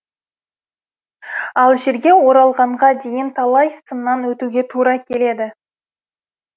ал жерге оралғанға дейін талай сыннан өтуге тура келеді